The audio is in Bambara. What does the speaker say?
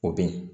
O ben